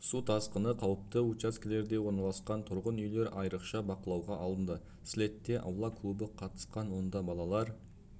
су тасқыны қауіпті учаскелерде орналасқан тұрғын үйлер айрықша бақылауға алынды слетта аула клубы қатысты онда балалар